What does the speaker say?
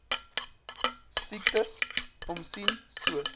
siekes omsien soos